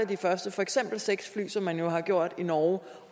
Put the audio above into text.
de første for eksempel seks fly som man jo har gjort i norge